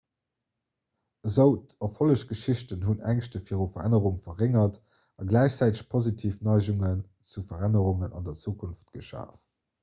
esou erfollegsgeschichte hunn d'ängschte viru verännerung verréngert a gläichzäiteg positiv neigungen zu verännerungen an der zukunft geschaf